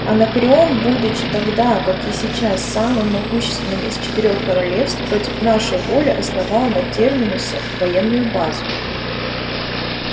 анакреон будучи тогда как и сейчас самым могущественным из четырёх королевств против нашей воли основал на терминусе военную базу